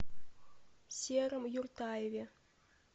сером юртаеве